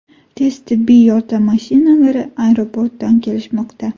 Tez tibbiy yordam mashinalari aeroportdan kelishmoqda.